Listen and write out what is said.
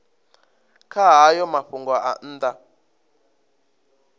kha hayo mafhungo nga nnḓa